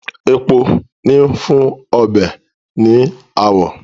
Epo ń fún ọbẹ̀ ní àwọ̀